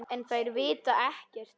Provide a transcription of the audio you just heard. En þær vita ekkert.